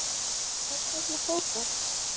Hvers vegna fór það?